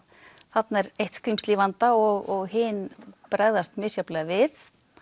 þarna er eitt skrímsli í vanda og hin bregðast misjafnlega við